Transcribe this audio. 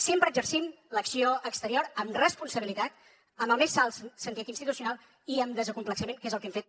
sempre exercim l’acció exterior amb responsabilitat amb el més alt sentit institucional i amb desacomplexament que és el que hem fet